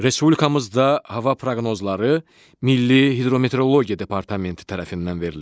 Respublikamızda hava proqnozları Milli Hidrometeorologiya Departamenti tərəfindən verilir.